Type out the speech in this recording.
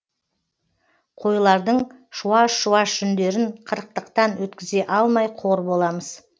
қойлардың шуаш шуаш жүндерін қырықтықтан өткізе алмай қор боламыз